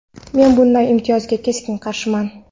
men bunday imtiyozga keskin qarshiman.